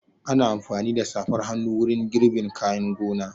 Ana amfani da safar hannu wurin girbin kayan gona.